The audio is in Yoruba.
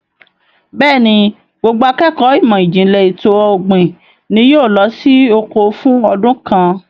Bẹ́ẹ̀ni, gbogbo akékọ̀ọ́ ìmọ̀ ìjìnlẹ̀ ètò ọ̀gbìn ni yóò lọ sí oko fún ọdún kan.